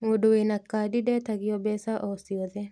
Mũndũ wĩna kandi ndetagio mbeca o ciothe